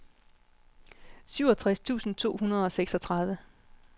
syvogtres tusind to hundrede og seksogtredive